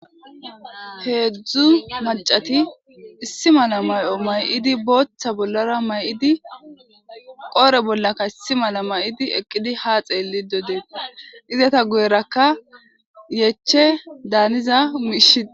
Heedzdzu macati issi mala may'o may'idi booththa bollara may'idi qoore bollaka issi mala may'idi eqqidi ha xeelli do deeta izata guyerakka yeche daaniza miishi.